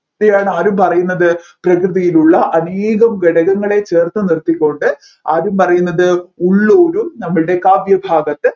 ആര് പറയുന്നത് പ്രകൃതിയിലുള്ള അനേകം ഘടകങ്ങളെ ചേർത്തിനിർത്തികൊണ്ട് ആര് പറയുന്നത് ഉള്ളൂരും നമ്മൾടെ കാവ്യഭാഗത്ത്